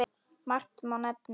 Margt má nefna.